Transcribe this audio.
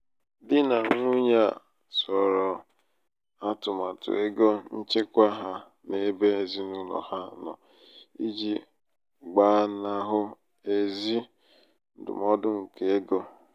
dị nà nwunye a zoro atụmatụ égo nchekwa ha n'ebe ezinaụlọ ha nọ i ji gbanahụ ezi ndụmọdụ nke égo.